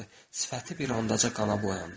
Sifəti bir anlıqca qana boyandı.